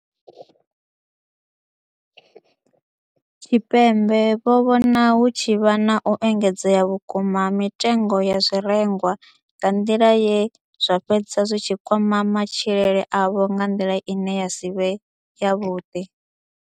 Tshipembe vho vhona hu tshi vha na u engedzea vhukuma ha mitengo ya zwirengwa nga nḓila ye zwa fhedza zwi tshi kwama matshilele avho nga nḓila ine ya si vhe yavhuḓi.